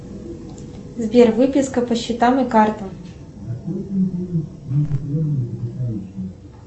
сбер выписка по счетам и картам